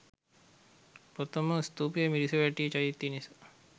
ප්‍රථම ස්තූපය මිරිසවැටිය චෛත්‍ය නිසා